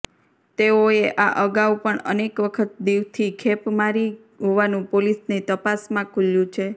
તેઓએ આ અગાઉ પણ અનેક વખત દિવથી ખેપ મારી હોવાનું પોલીસની તપાસમાં ખુલ્યુ છે